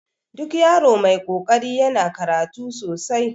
Duk yaro mai kokari yana karatu sosai